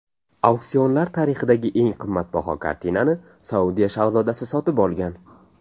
Auksionlar tarixidagi eng qimmatbaho kartinani Saudiya shahzodasi sotib olgan.